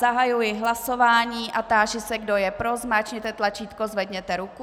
Zahajuji hlasování a táži se, kdo je pro, zmáčkněte tlačítko, zvedněte ruku.